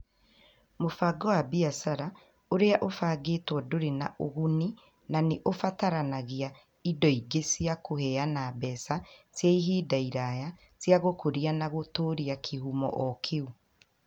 Mũbango wa biacara ũrĩa ũbangĩtwo ndũrĩ na ũguni na nĩ ũbataranagia indo ingĩ cia kũheana mbeca cia ihinda iraya cia gũkũria na gũtũũria kĩhumo o kĩu.